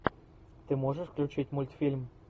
ты можешь включить мультфильм